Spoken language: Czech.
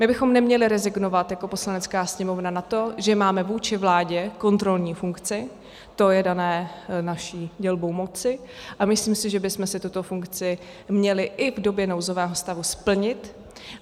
My bychom neměli rezignovat jako Poslanecká sněmovna na to, že máme vůči vládě kontrolní funkci, to je dané naší dělbou moci, a myslím si, že bychom si tuto funkci měli i v době nouzového stavu splnit.